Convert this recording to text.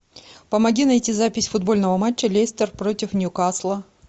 помоги найти запись футбольного матча лестер против ньюкасла